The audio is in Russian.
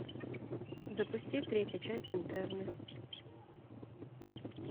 запусти третью часть интерны